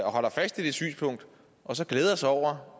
og holder fast i det synspunkt og så glæder sig over